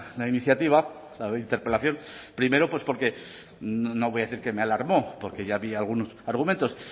la iniciativa la interpelación primero pues porque no voy a decir que me alarmó porque ya había algunos argumentos